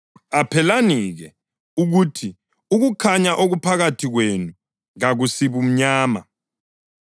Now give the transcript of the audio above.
Qaphelani-ke ukuthi ukukhanya okuphakathi kwenu kakusibumnyama.